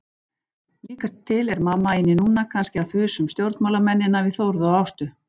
Líkast til er mamma inni núna, kannski að þusa um stjórnmálamennina við Þórð og Ástu.